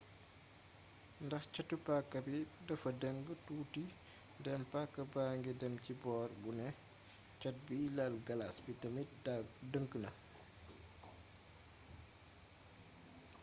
ndax catu paaka bi dafa dëng tuuti ndéem paaka baangi dém ci boor bu né cat biy laal galas bi tamit dëng na